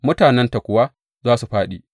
Mutanenta kuwa za su fāɗi.’